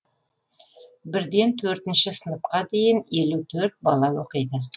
бірден төртінші сыныпқа дейін елу төрт бала оқиды